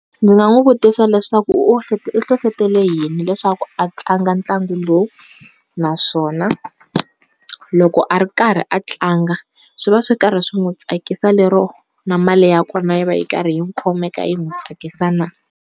Ndzi nga n'wi vutisa leswaku u u nhlohletele hi yini leswaku a tlanga ntlangu lowu, naswona loko a ri karhi a tlanga, swi va swi karhi swi n'wi tsakisa lero na mali ya kona yi va ri karhi khomeka yi n'wi tsakisa na?